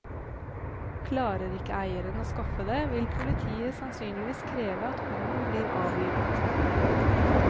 Klarer ikke eieren å skaffe det, vil politiet sannsynligvis kreve at hunden blir avlivet.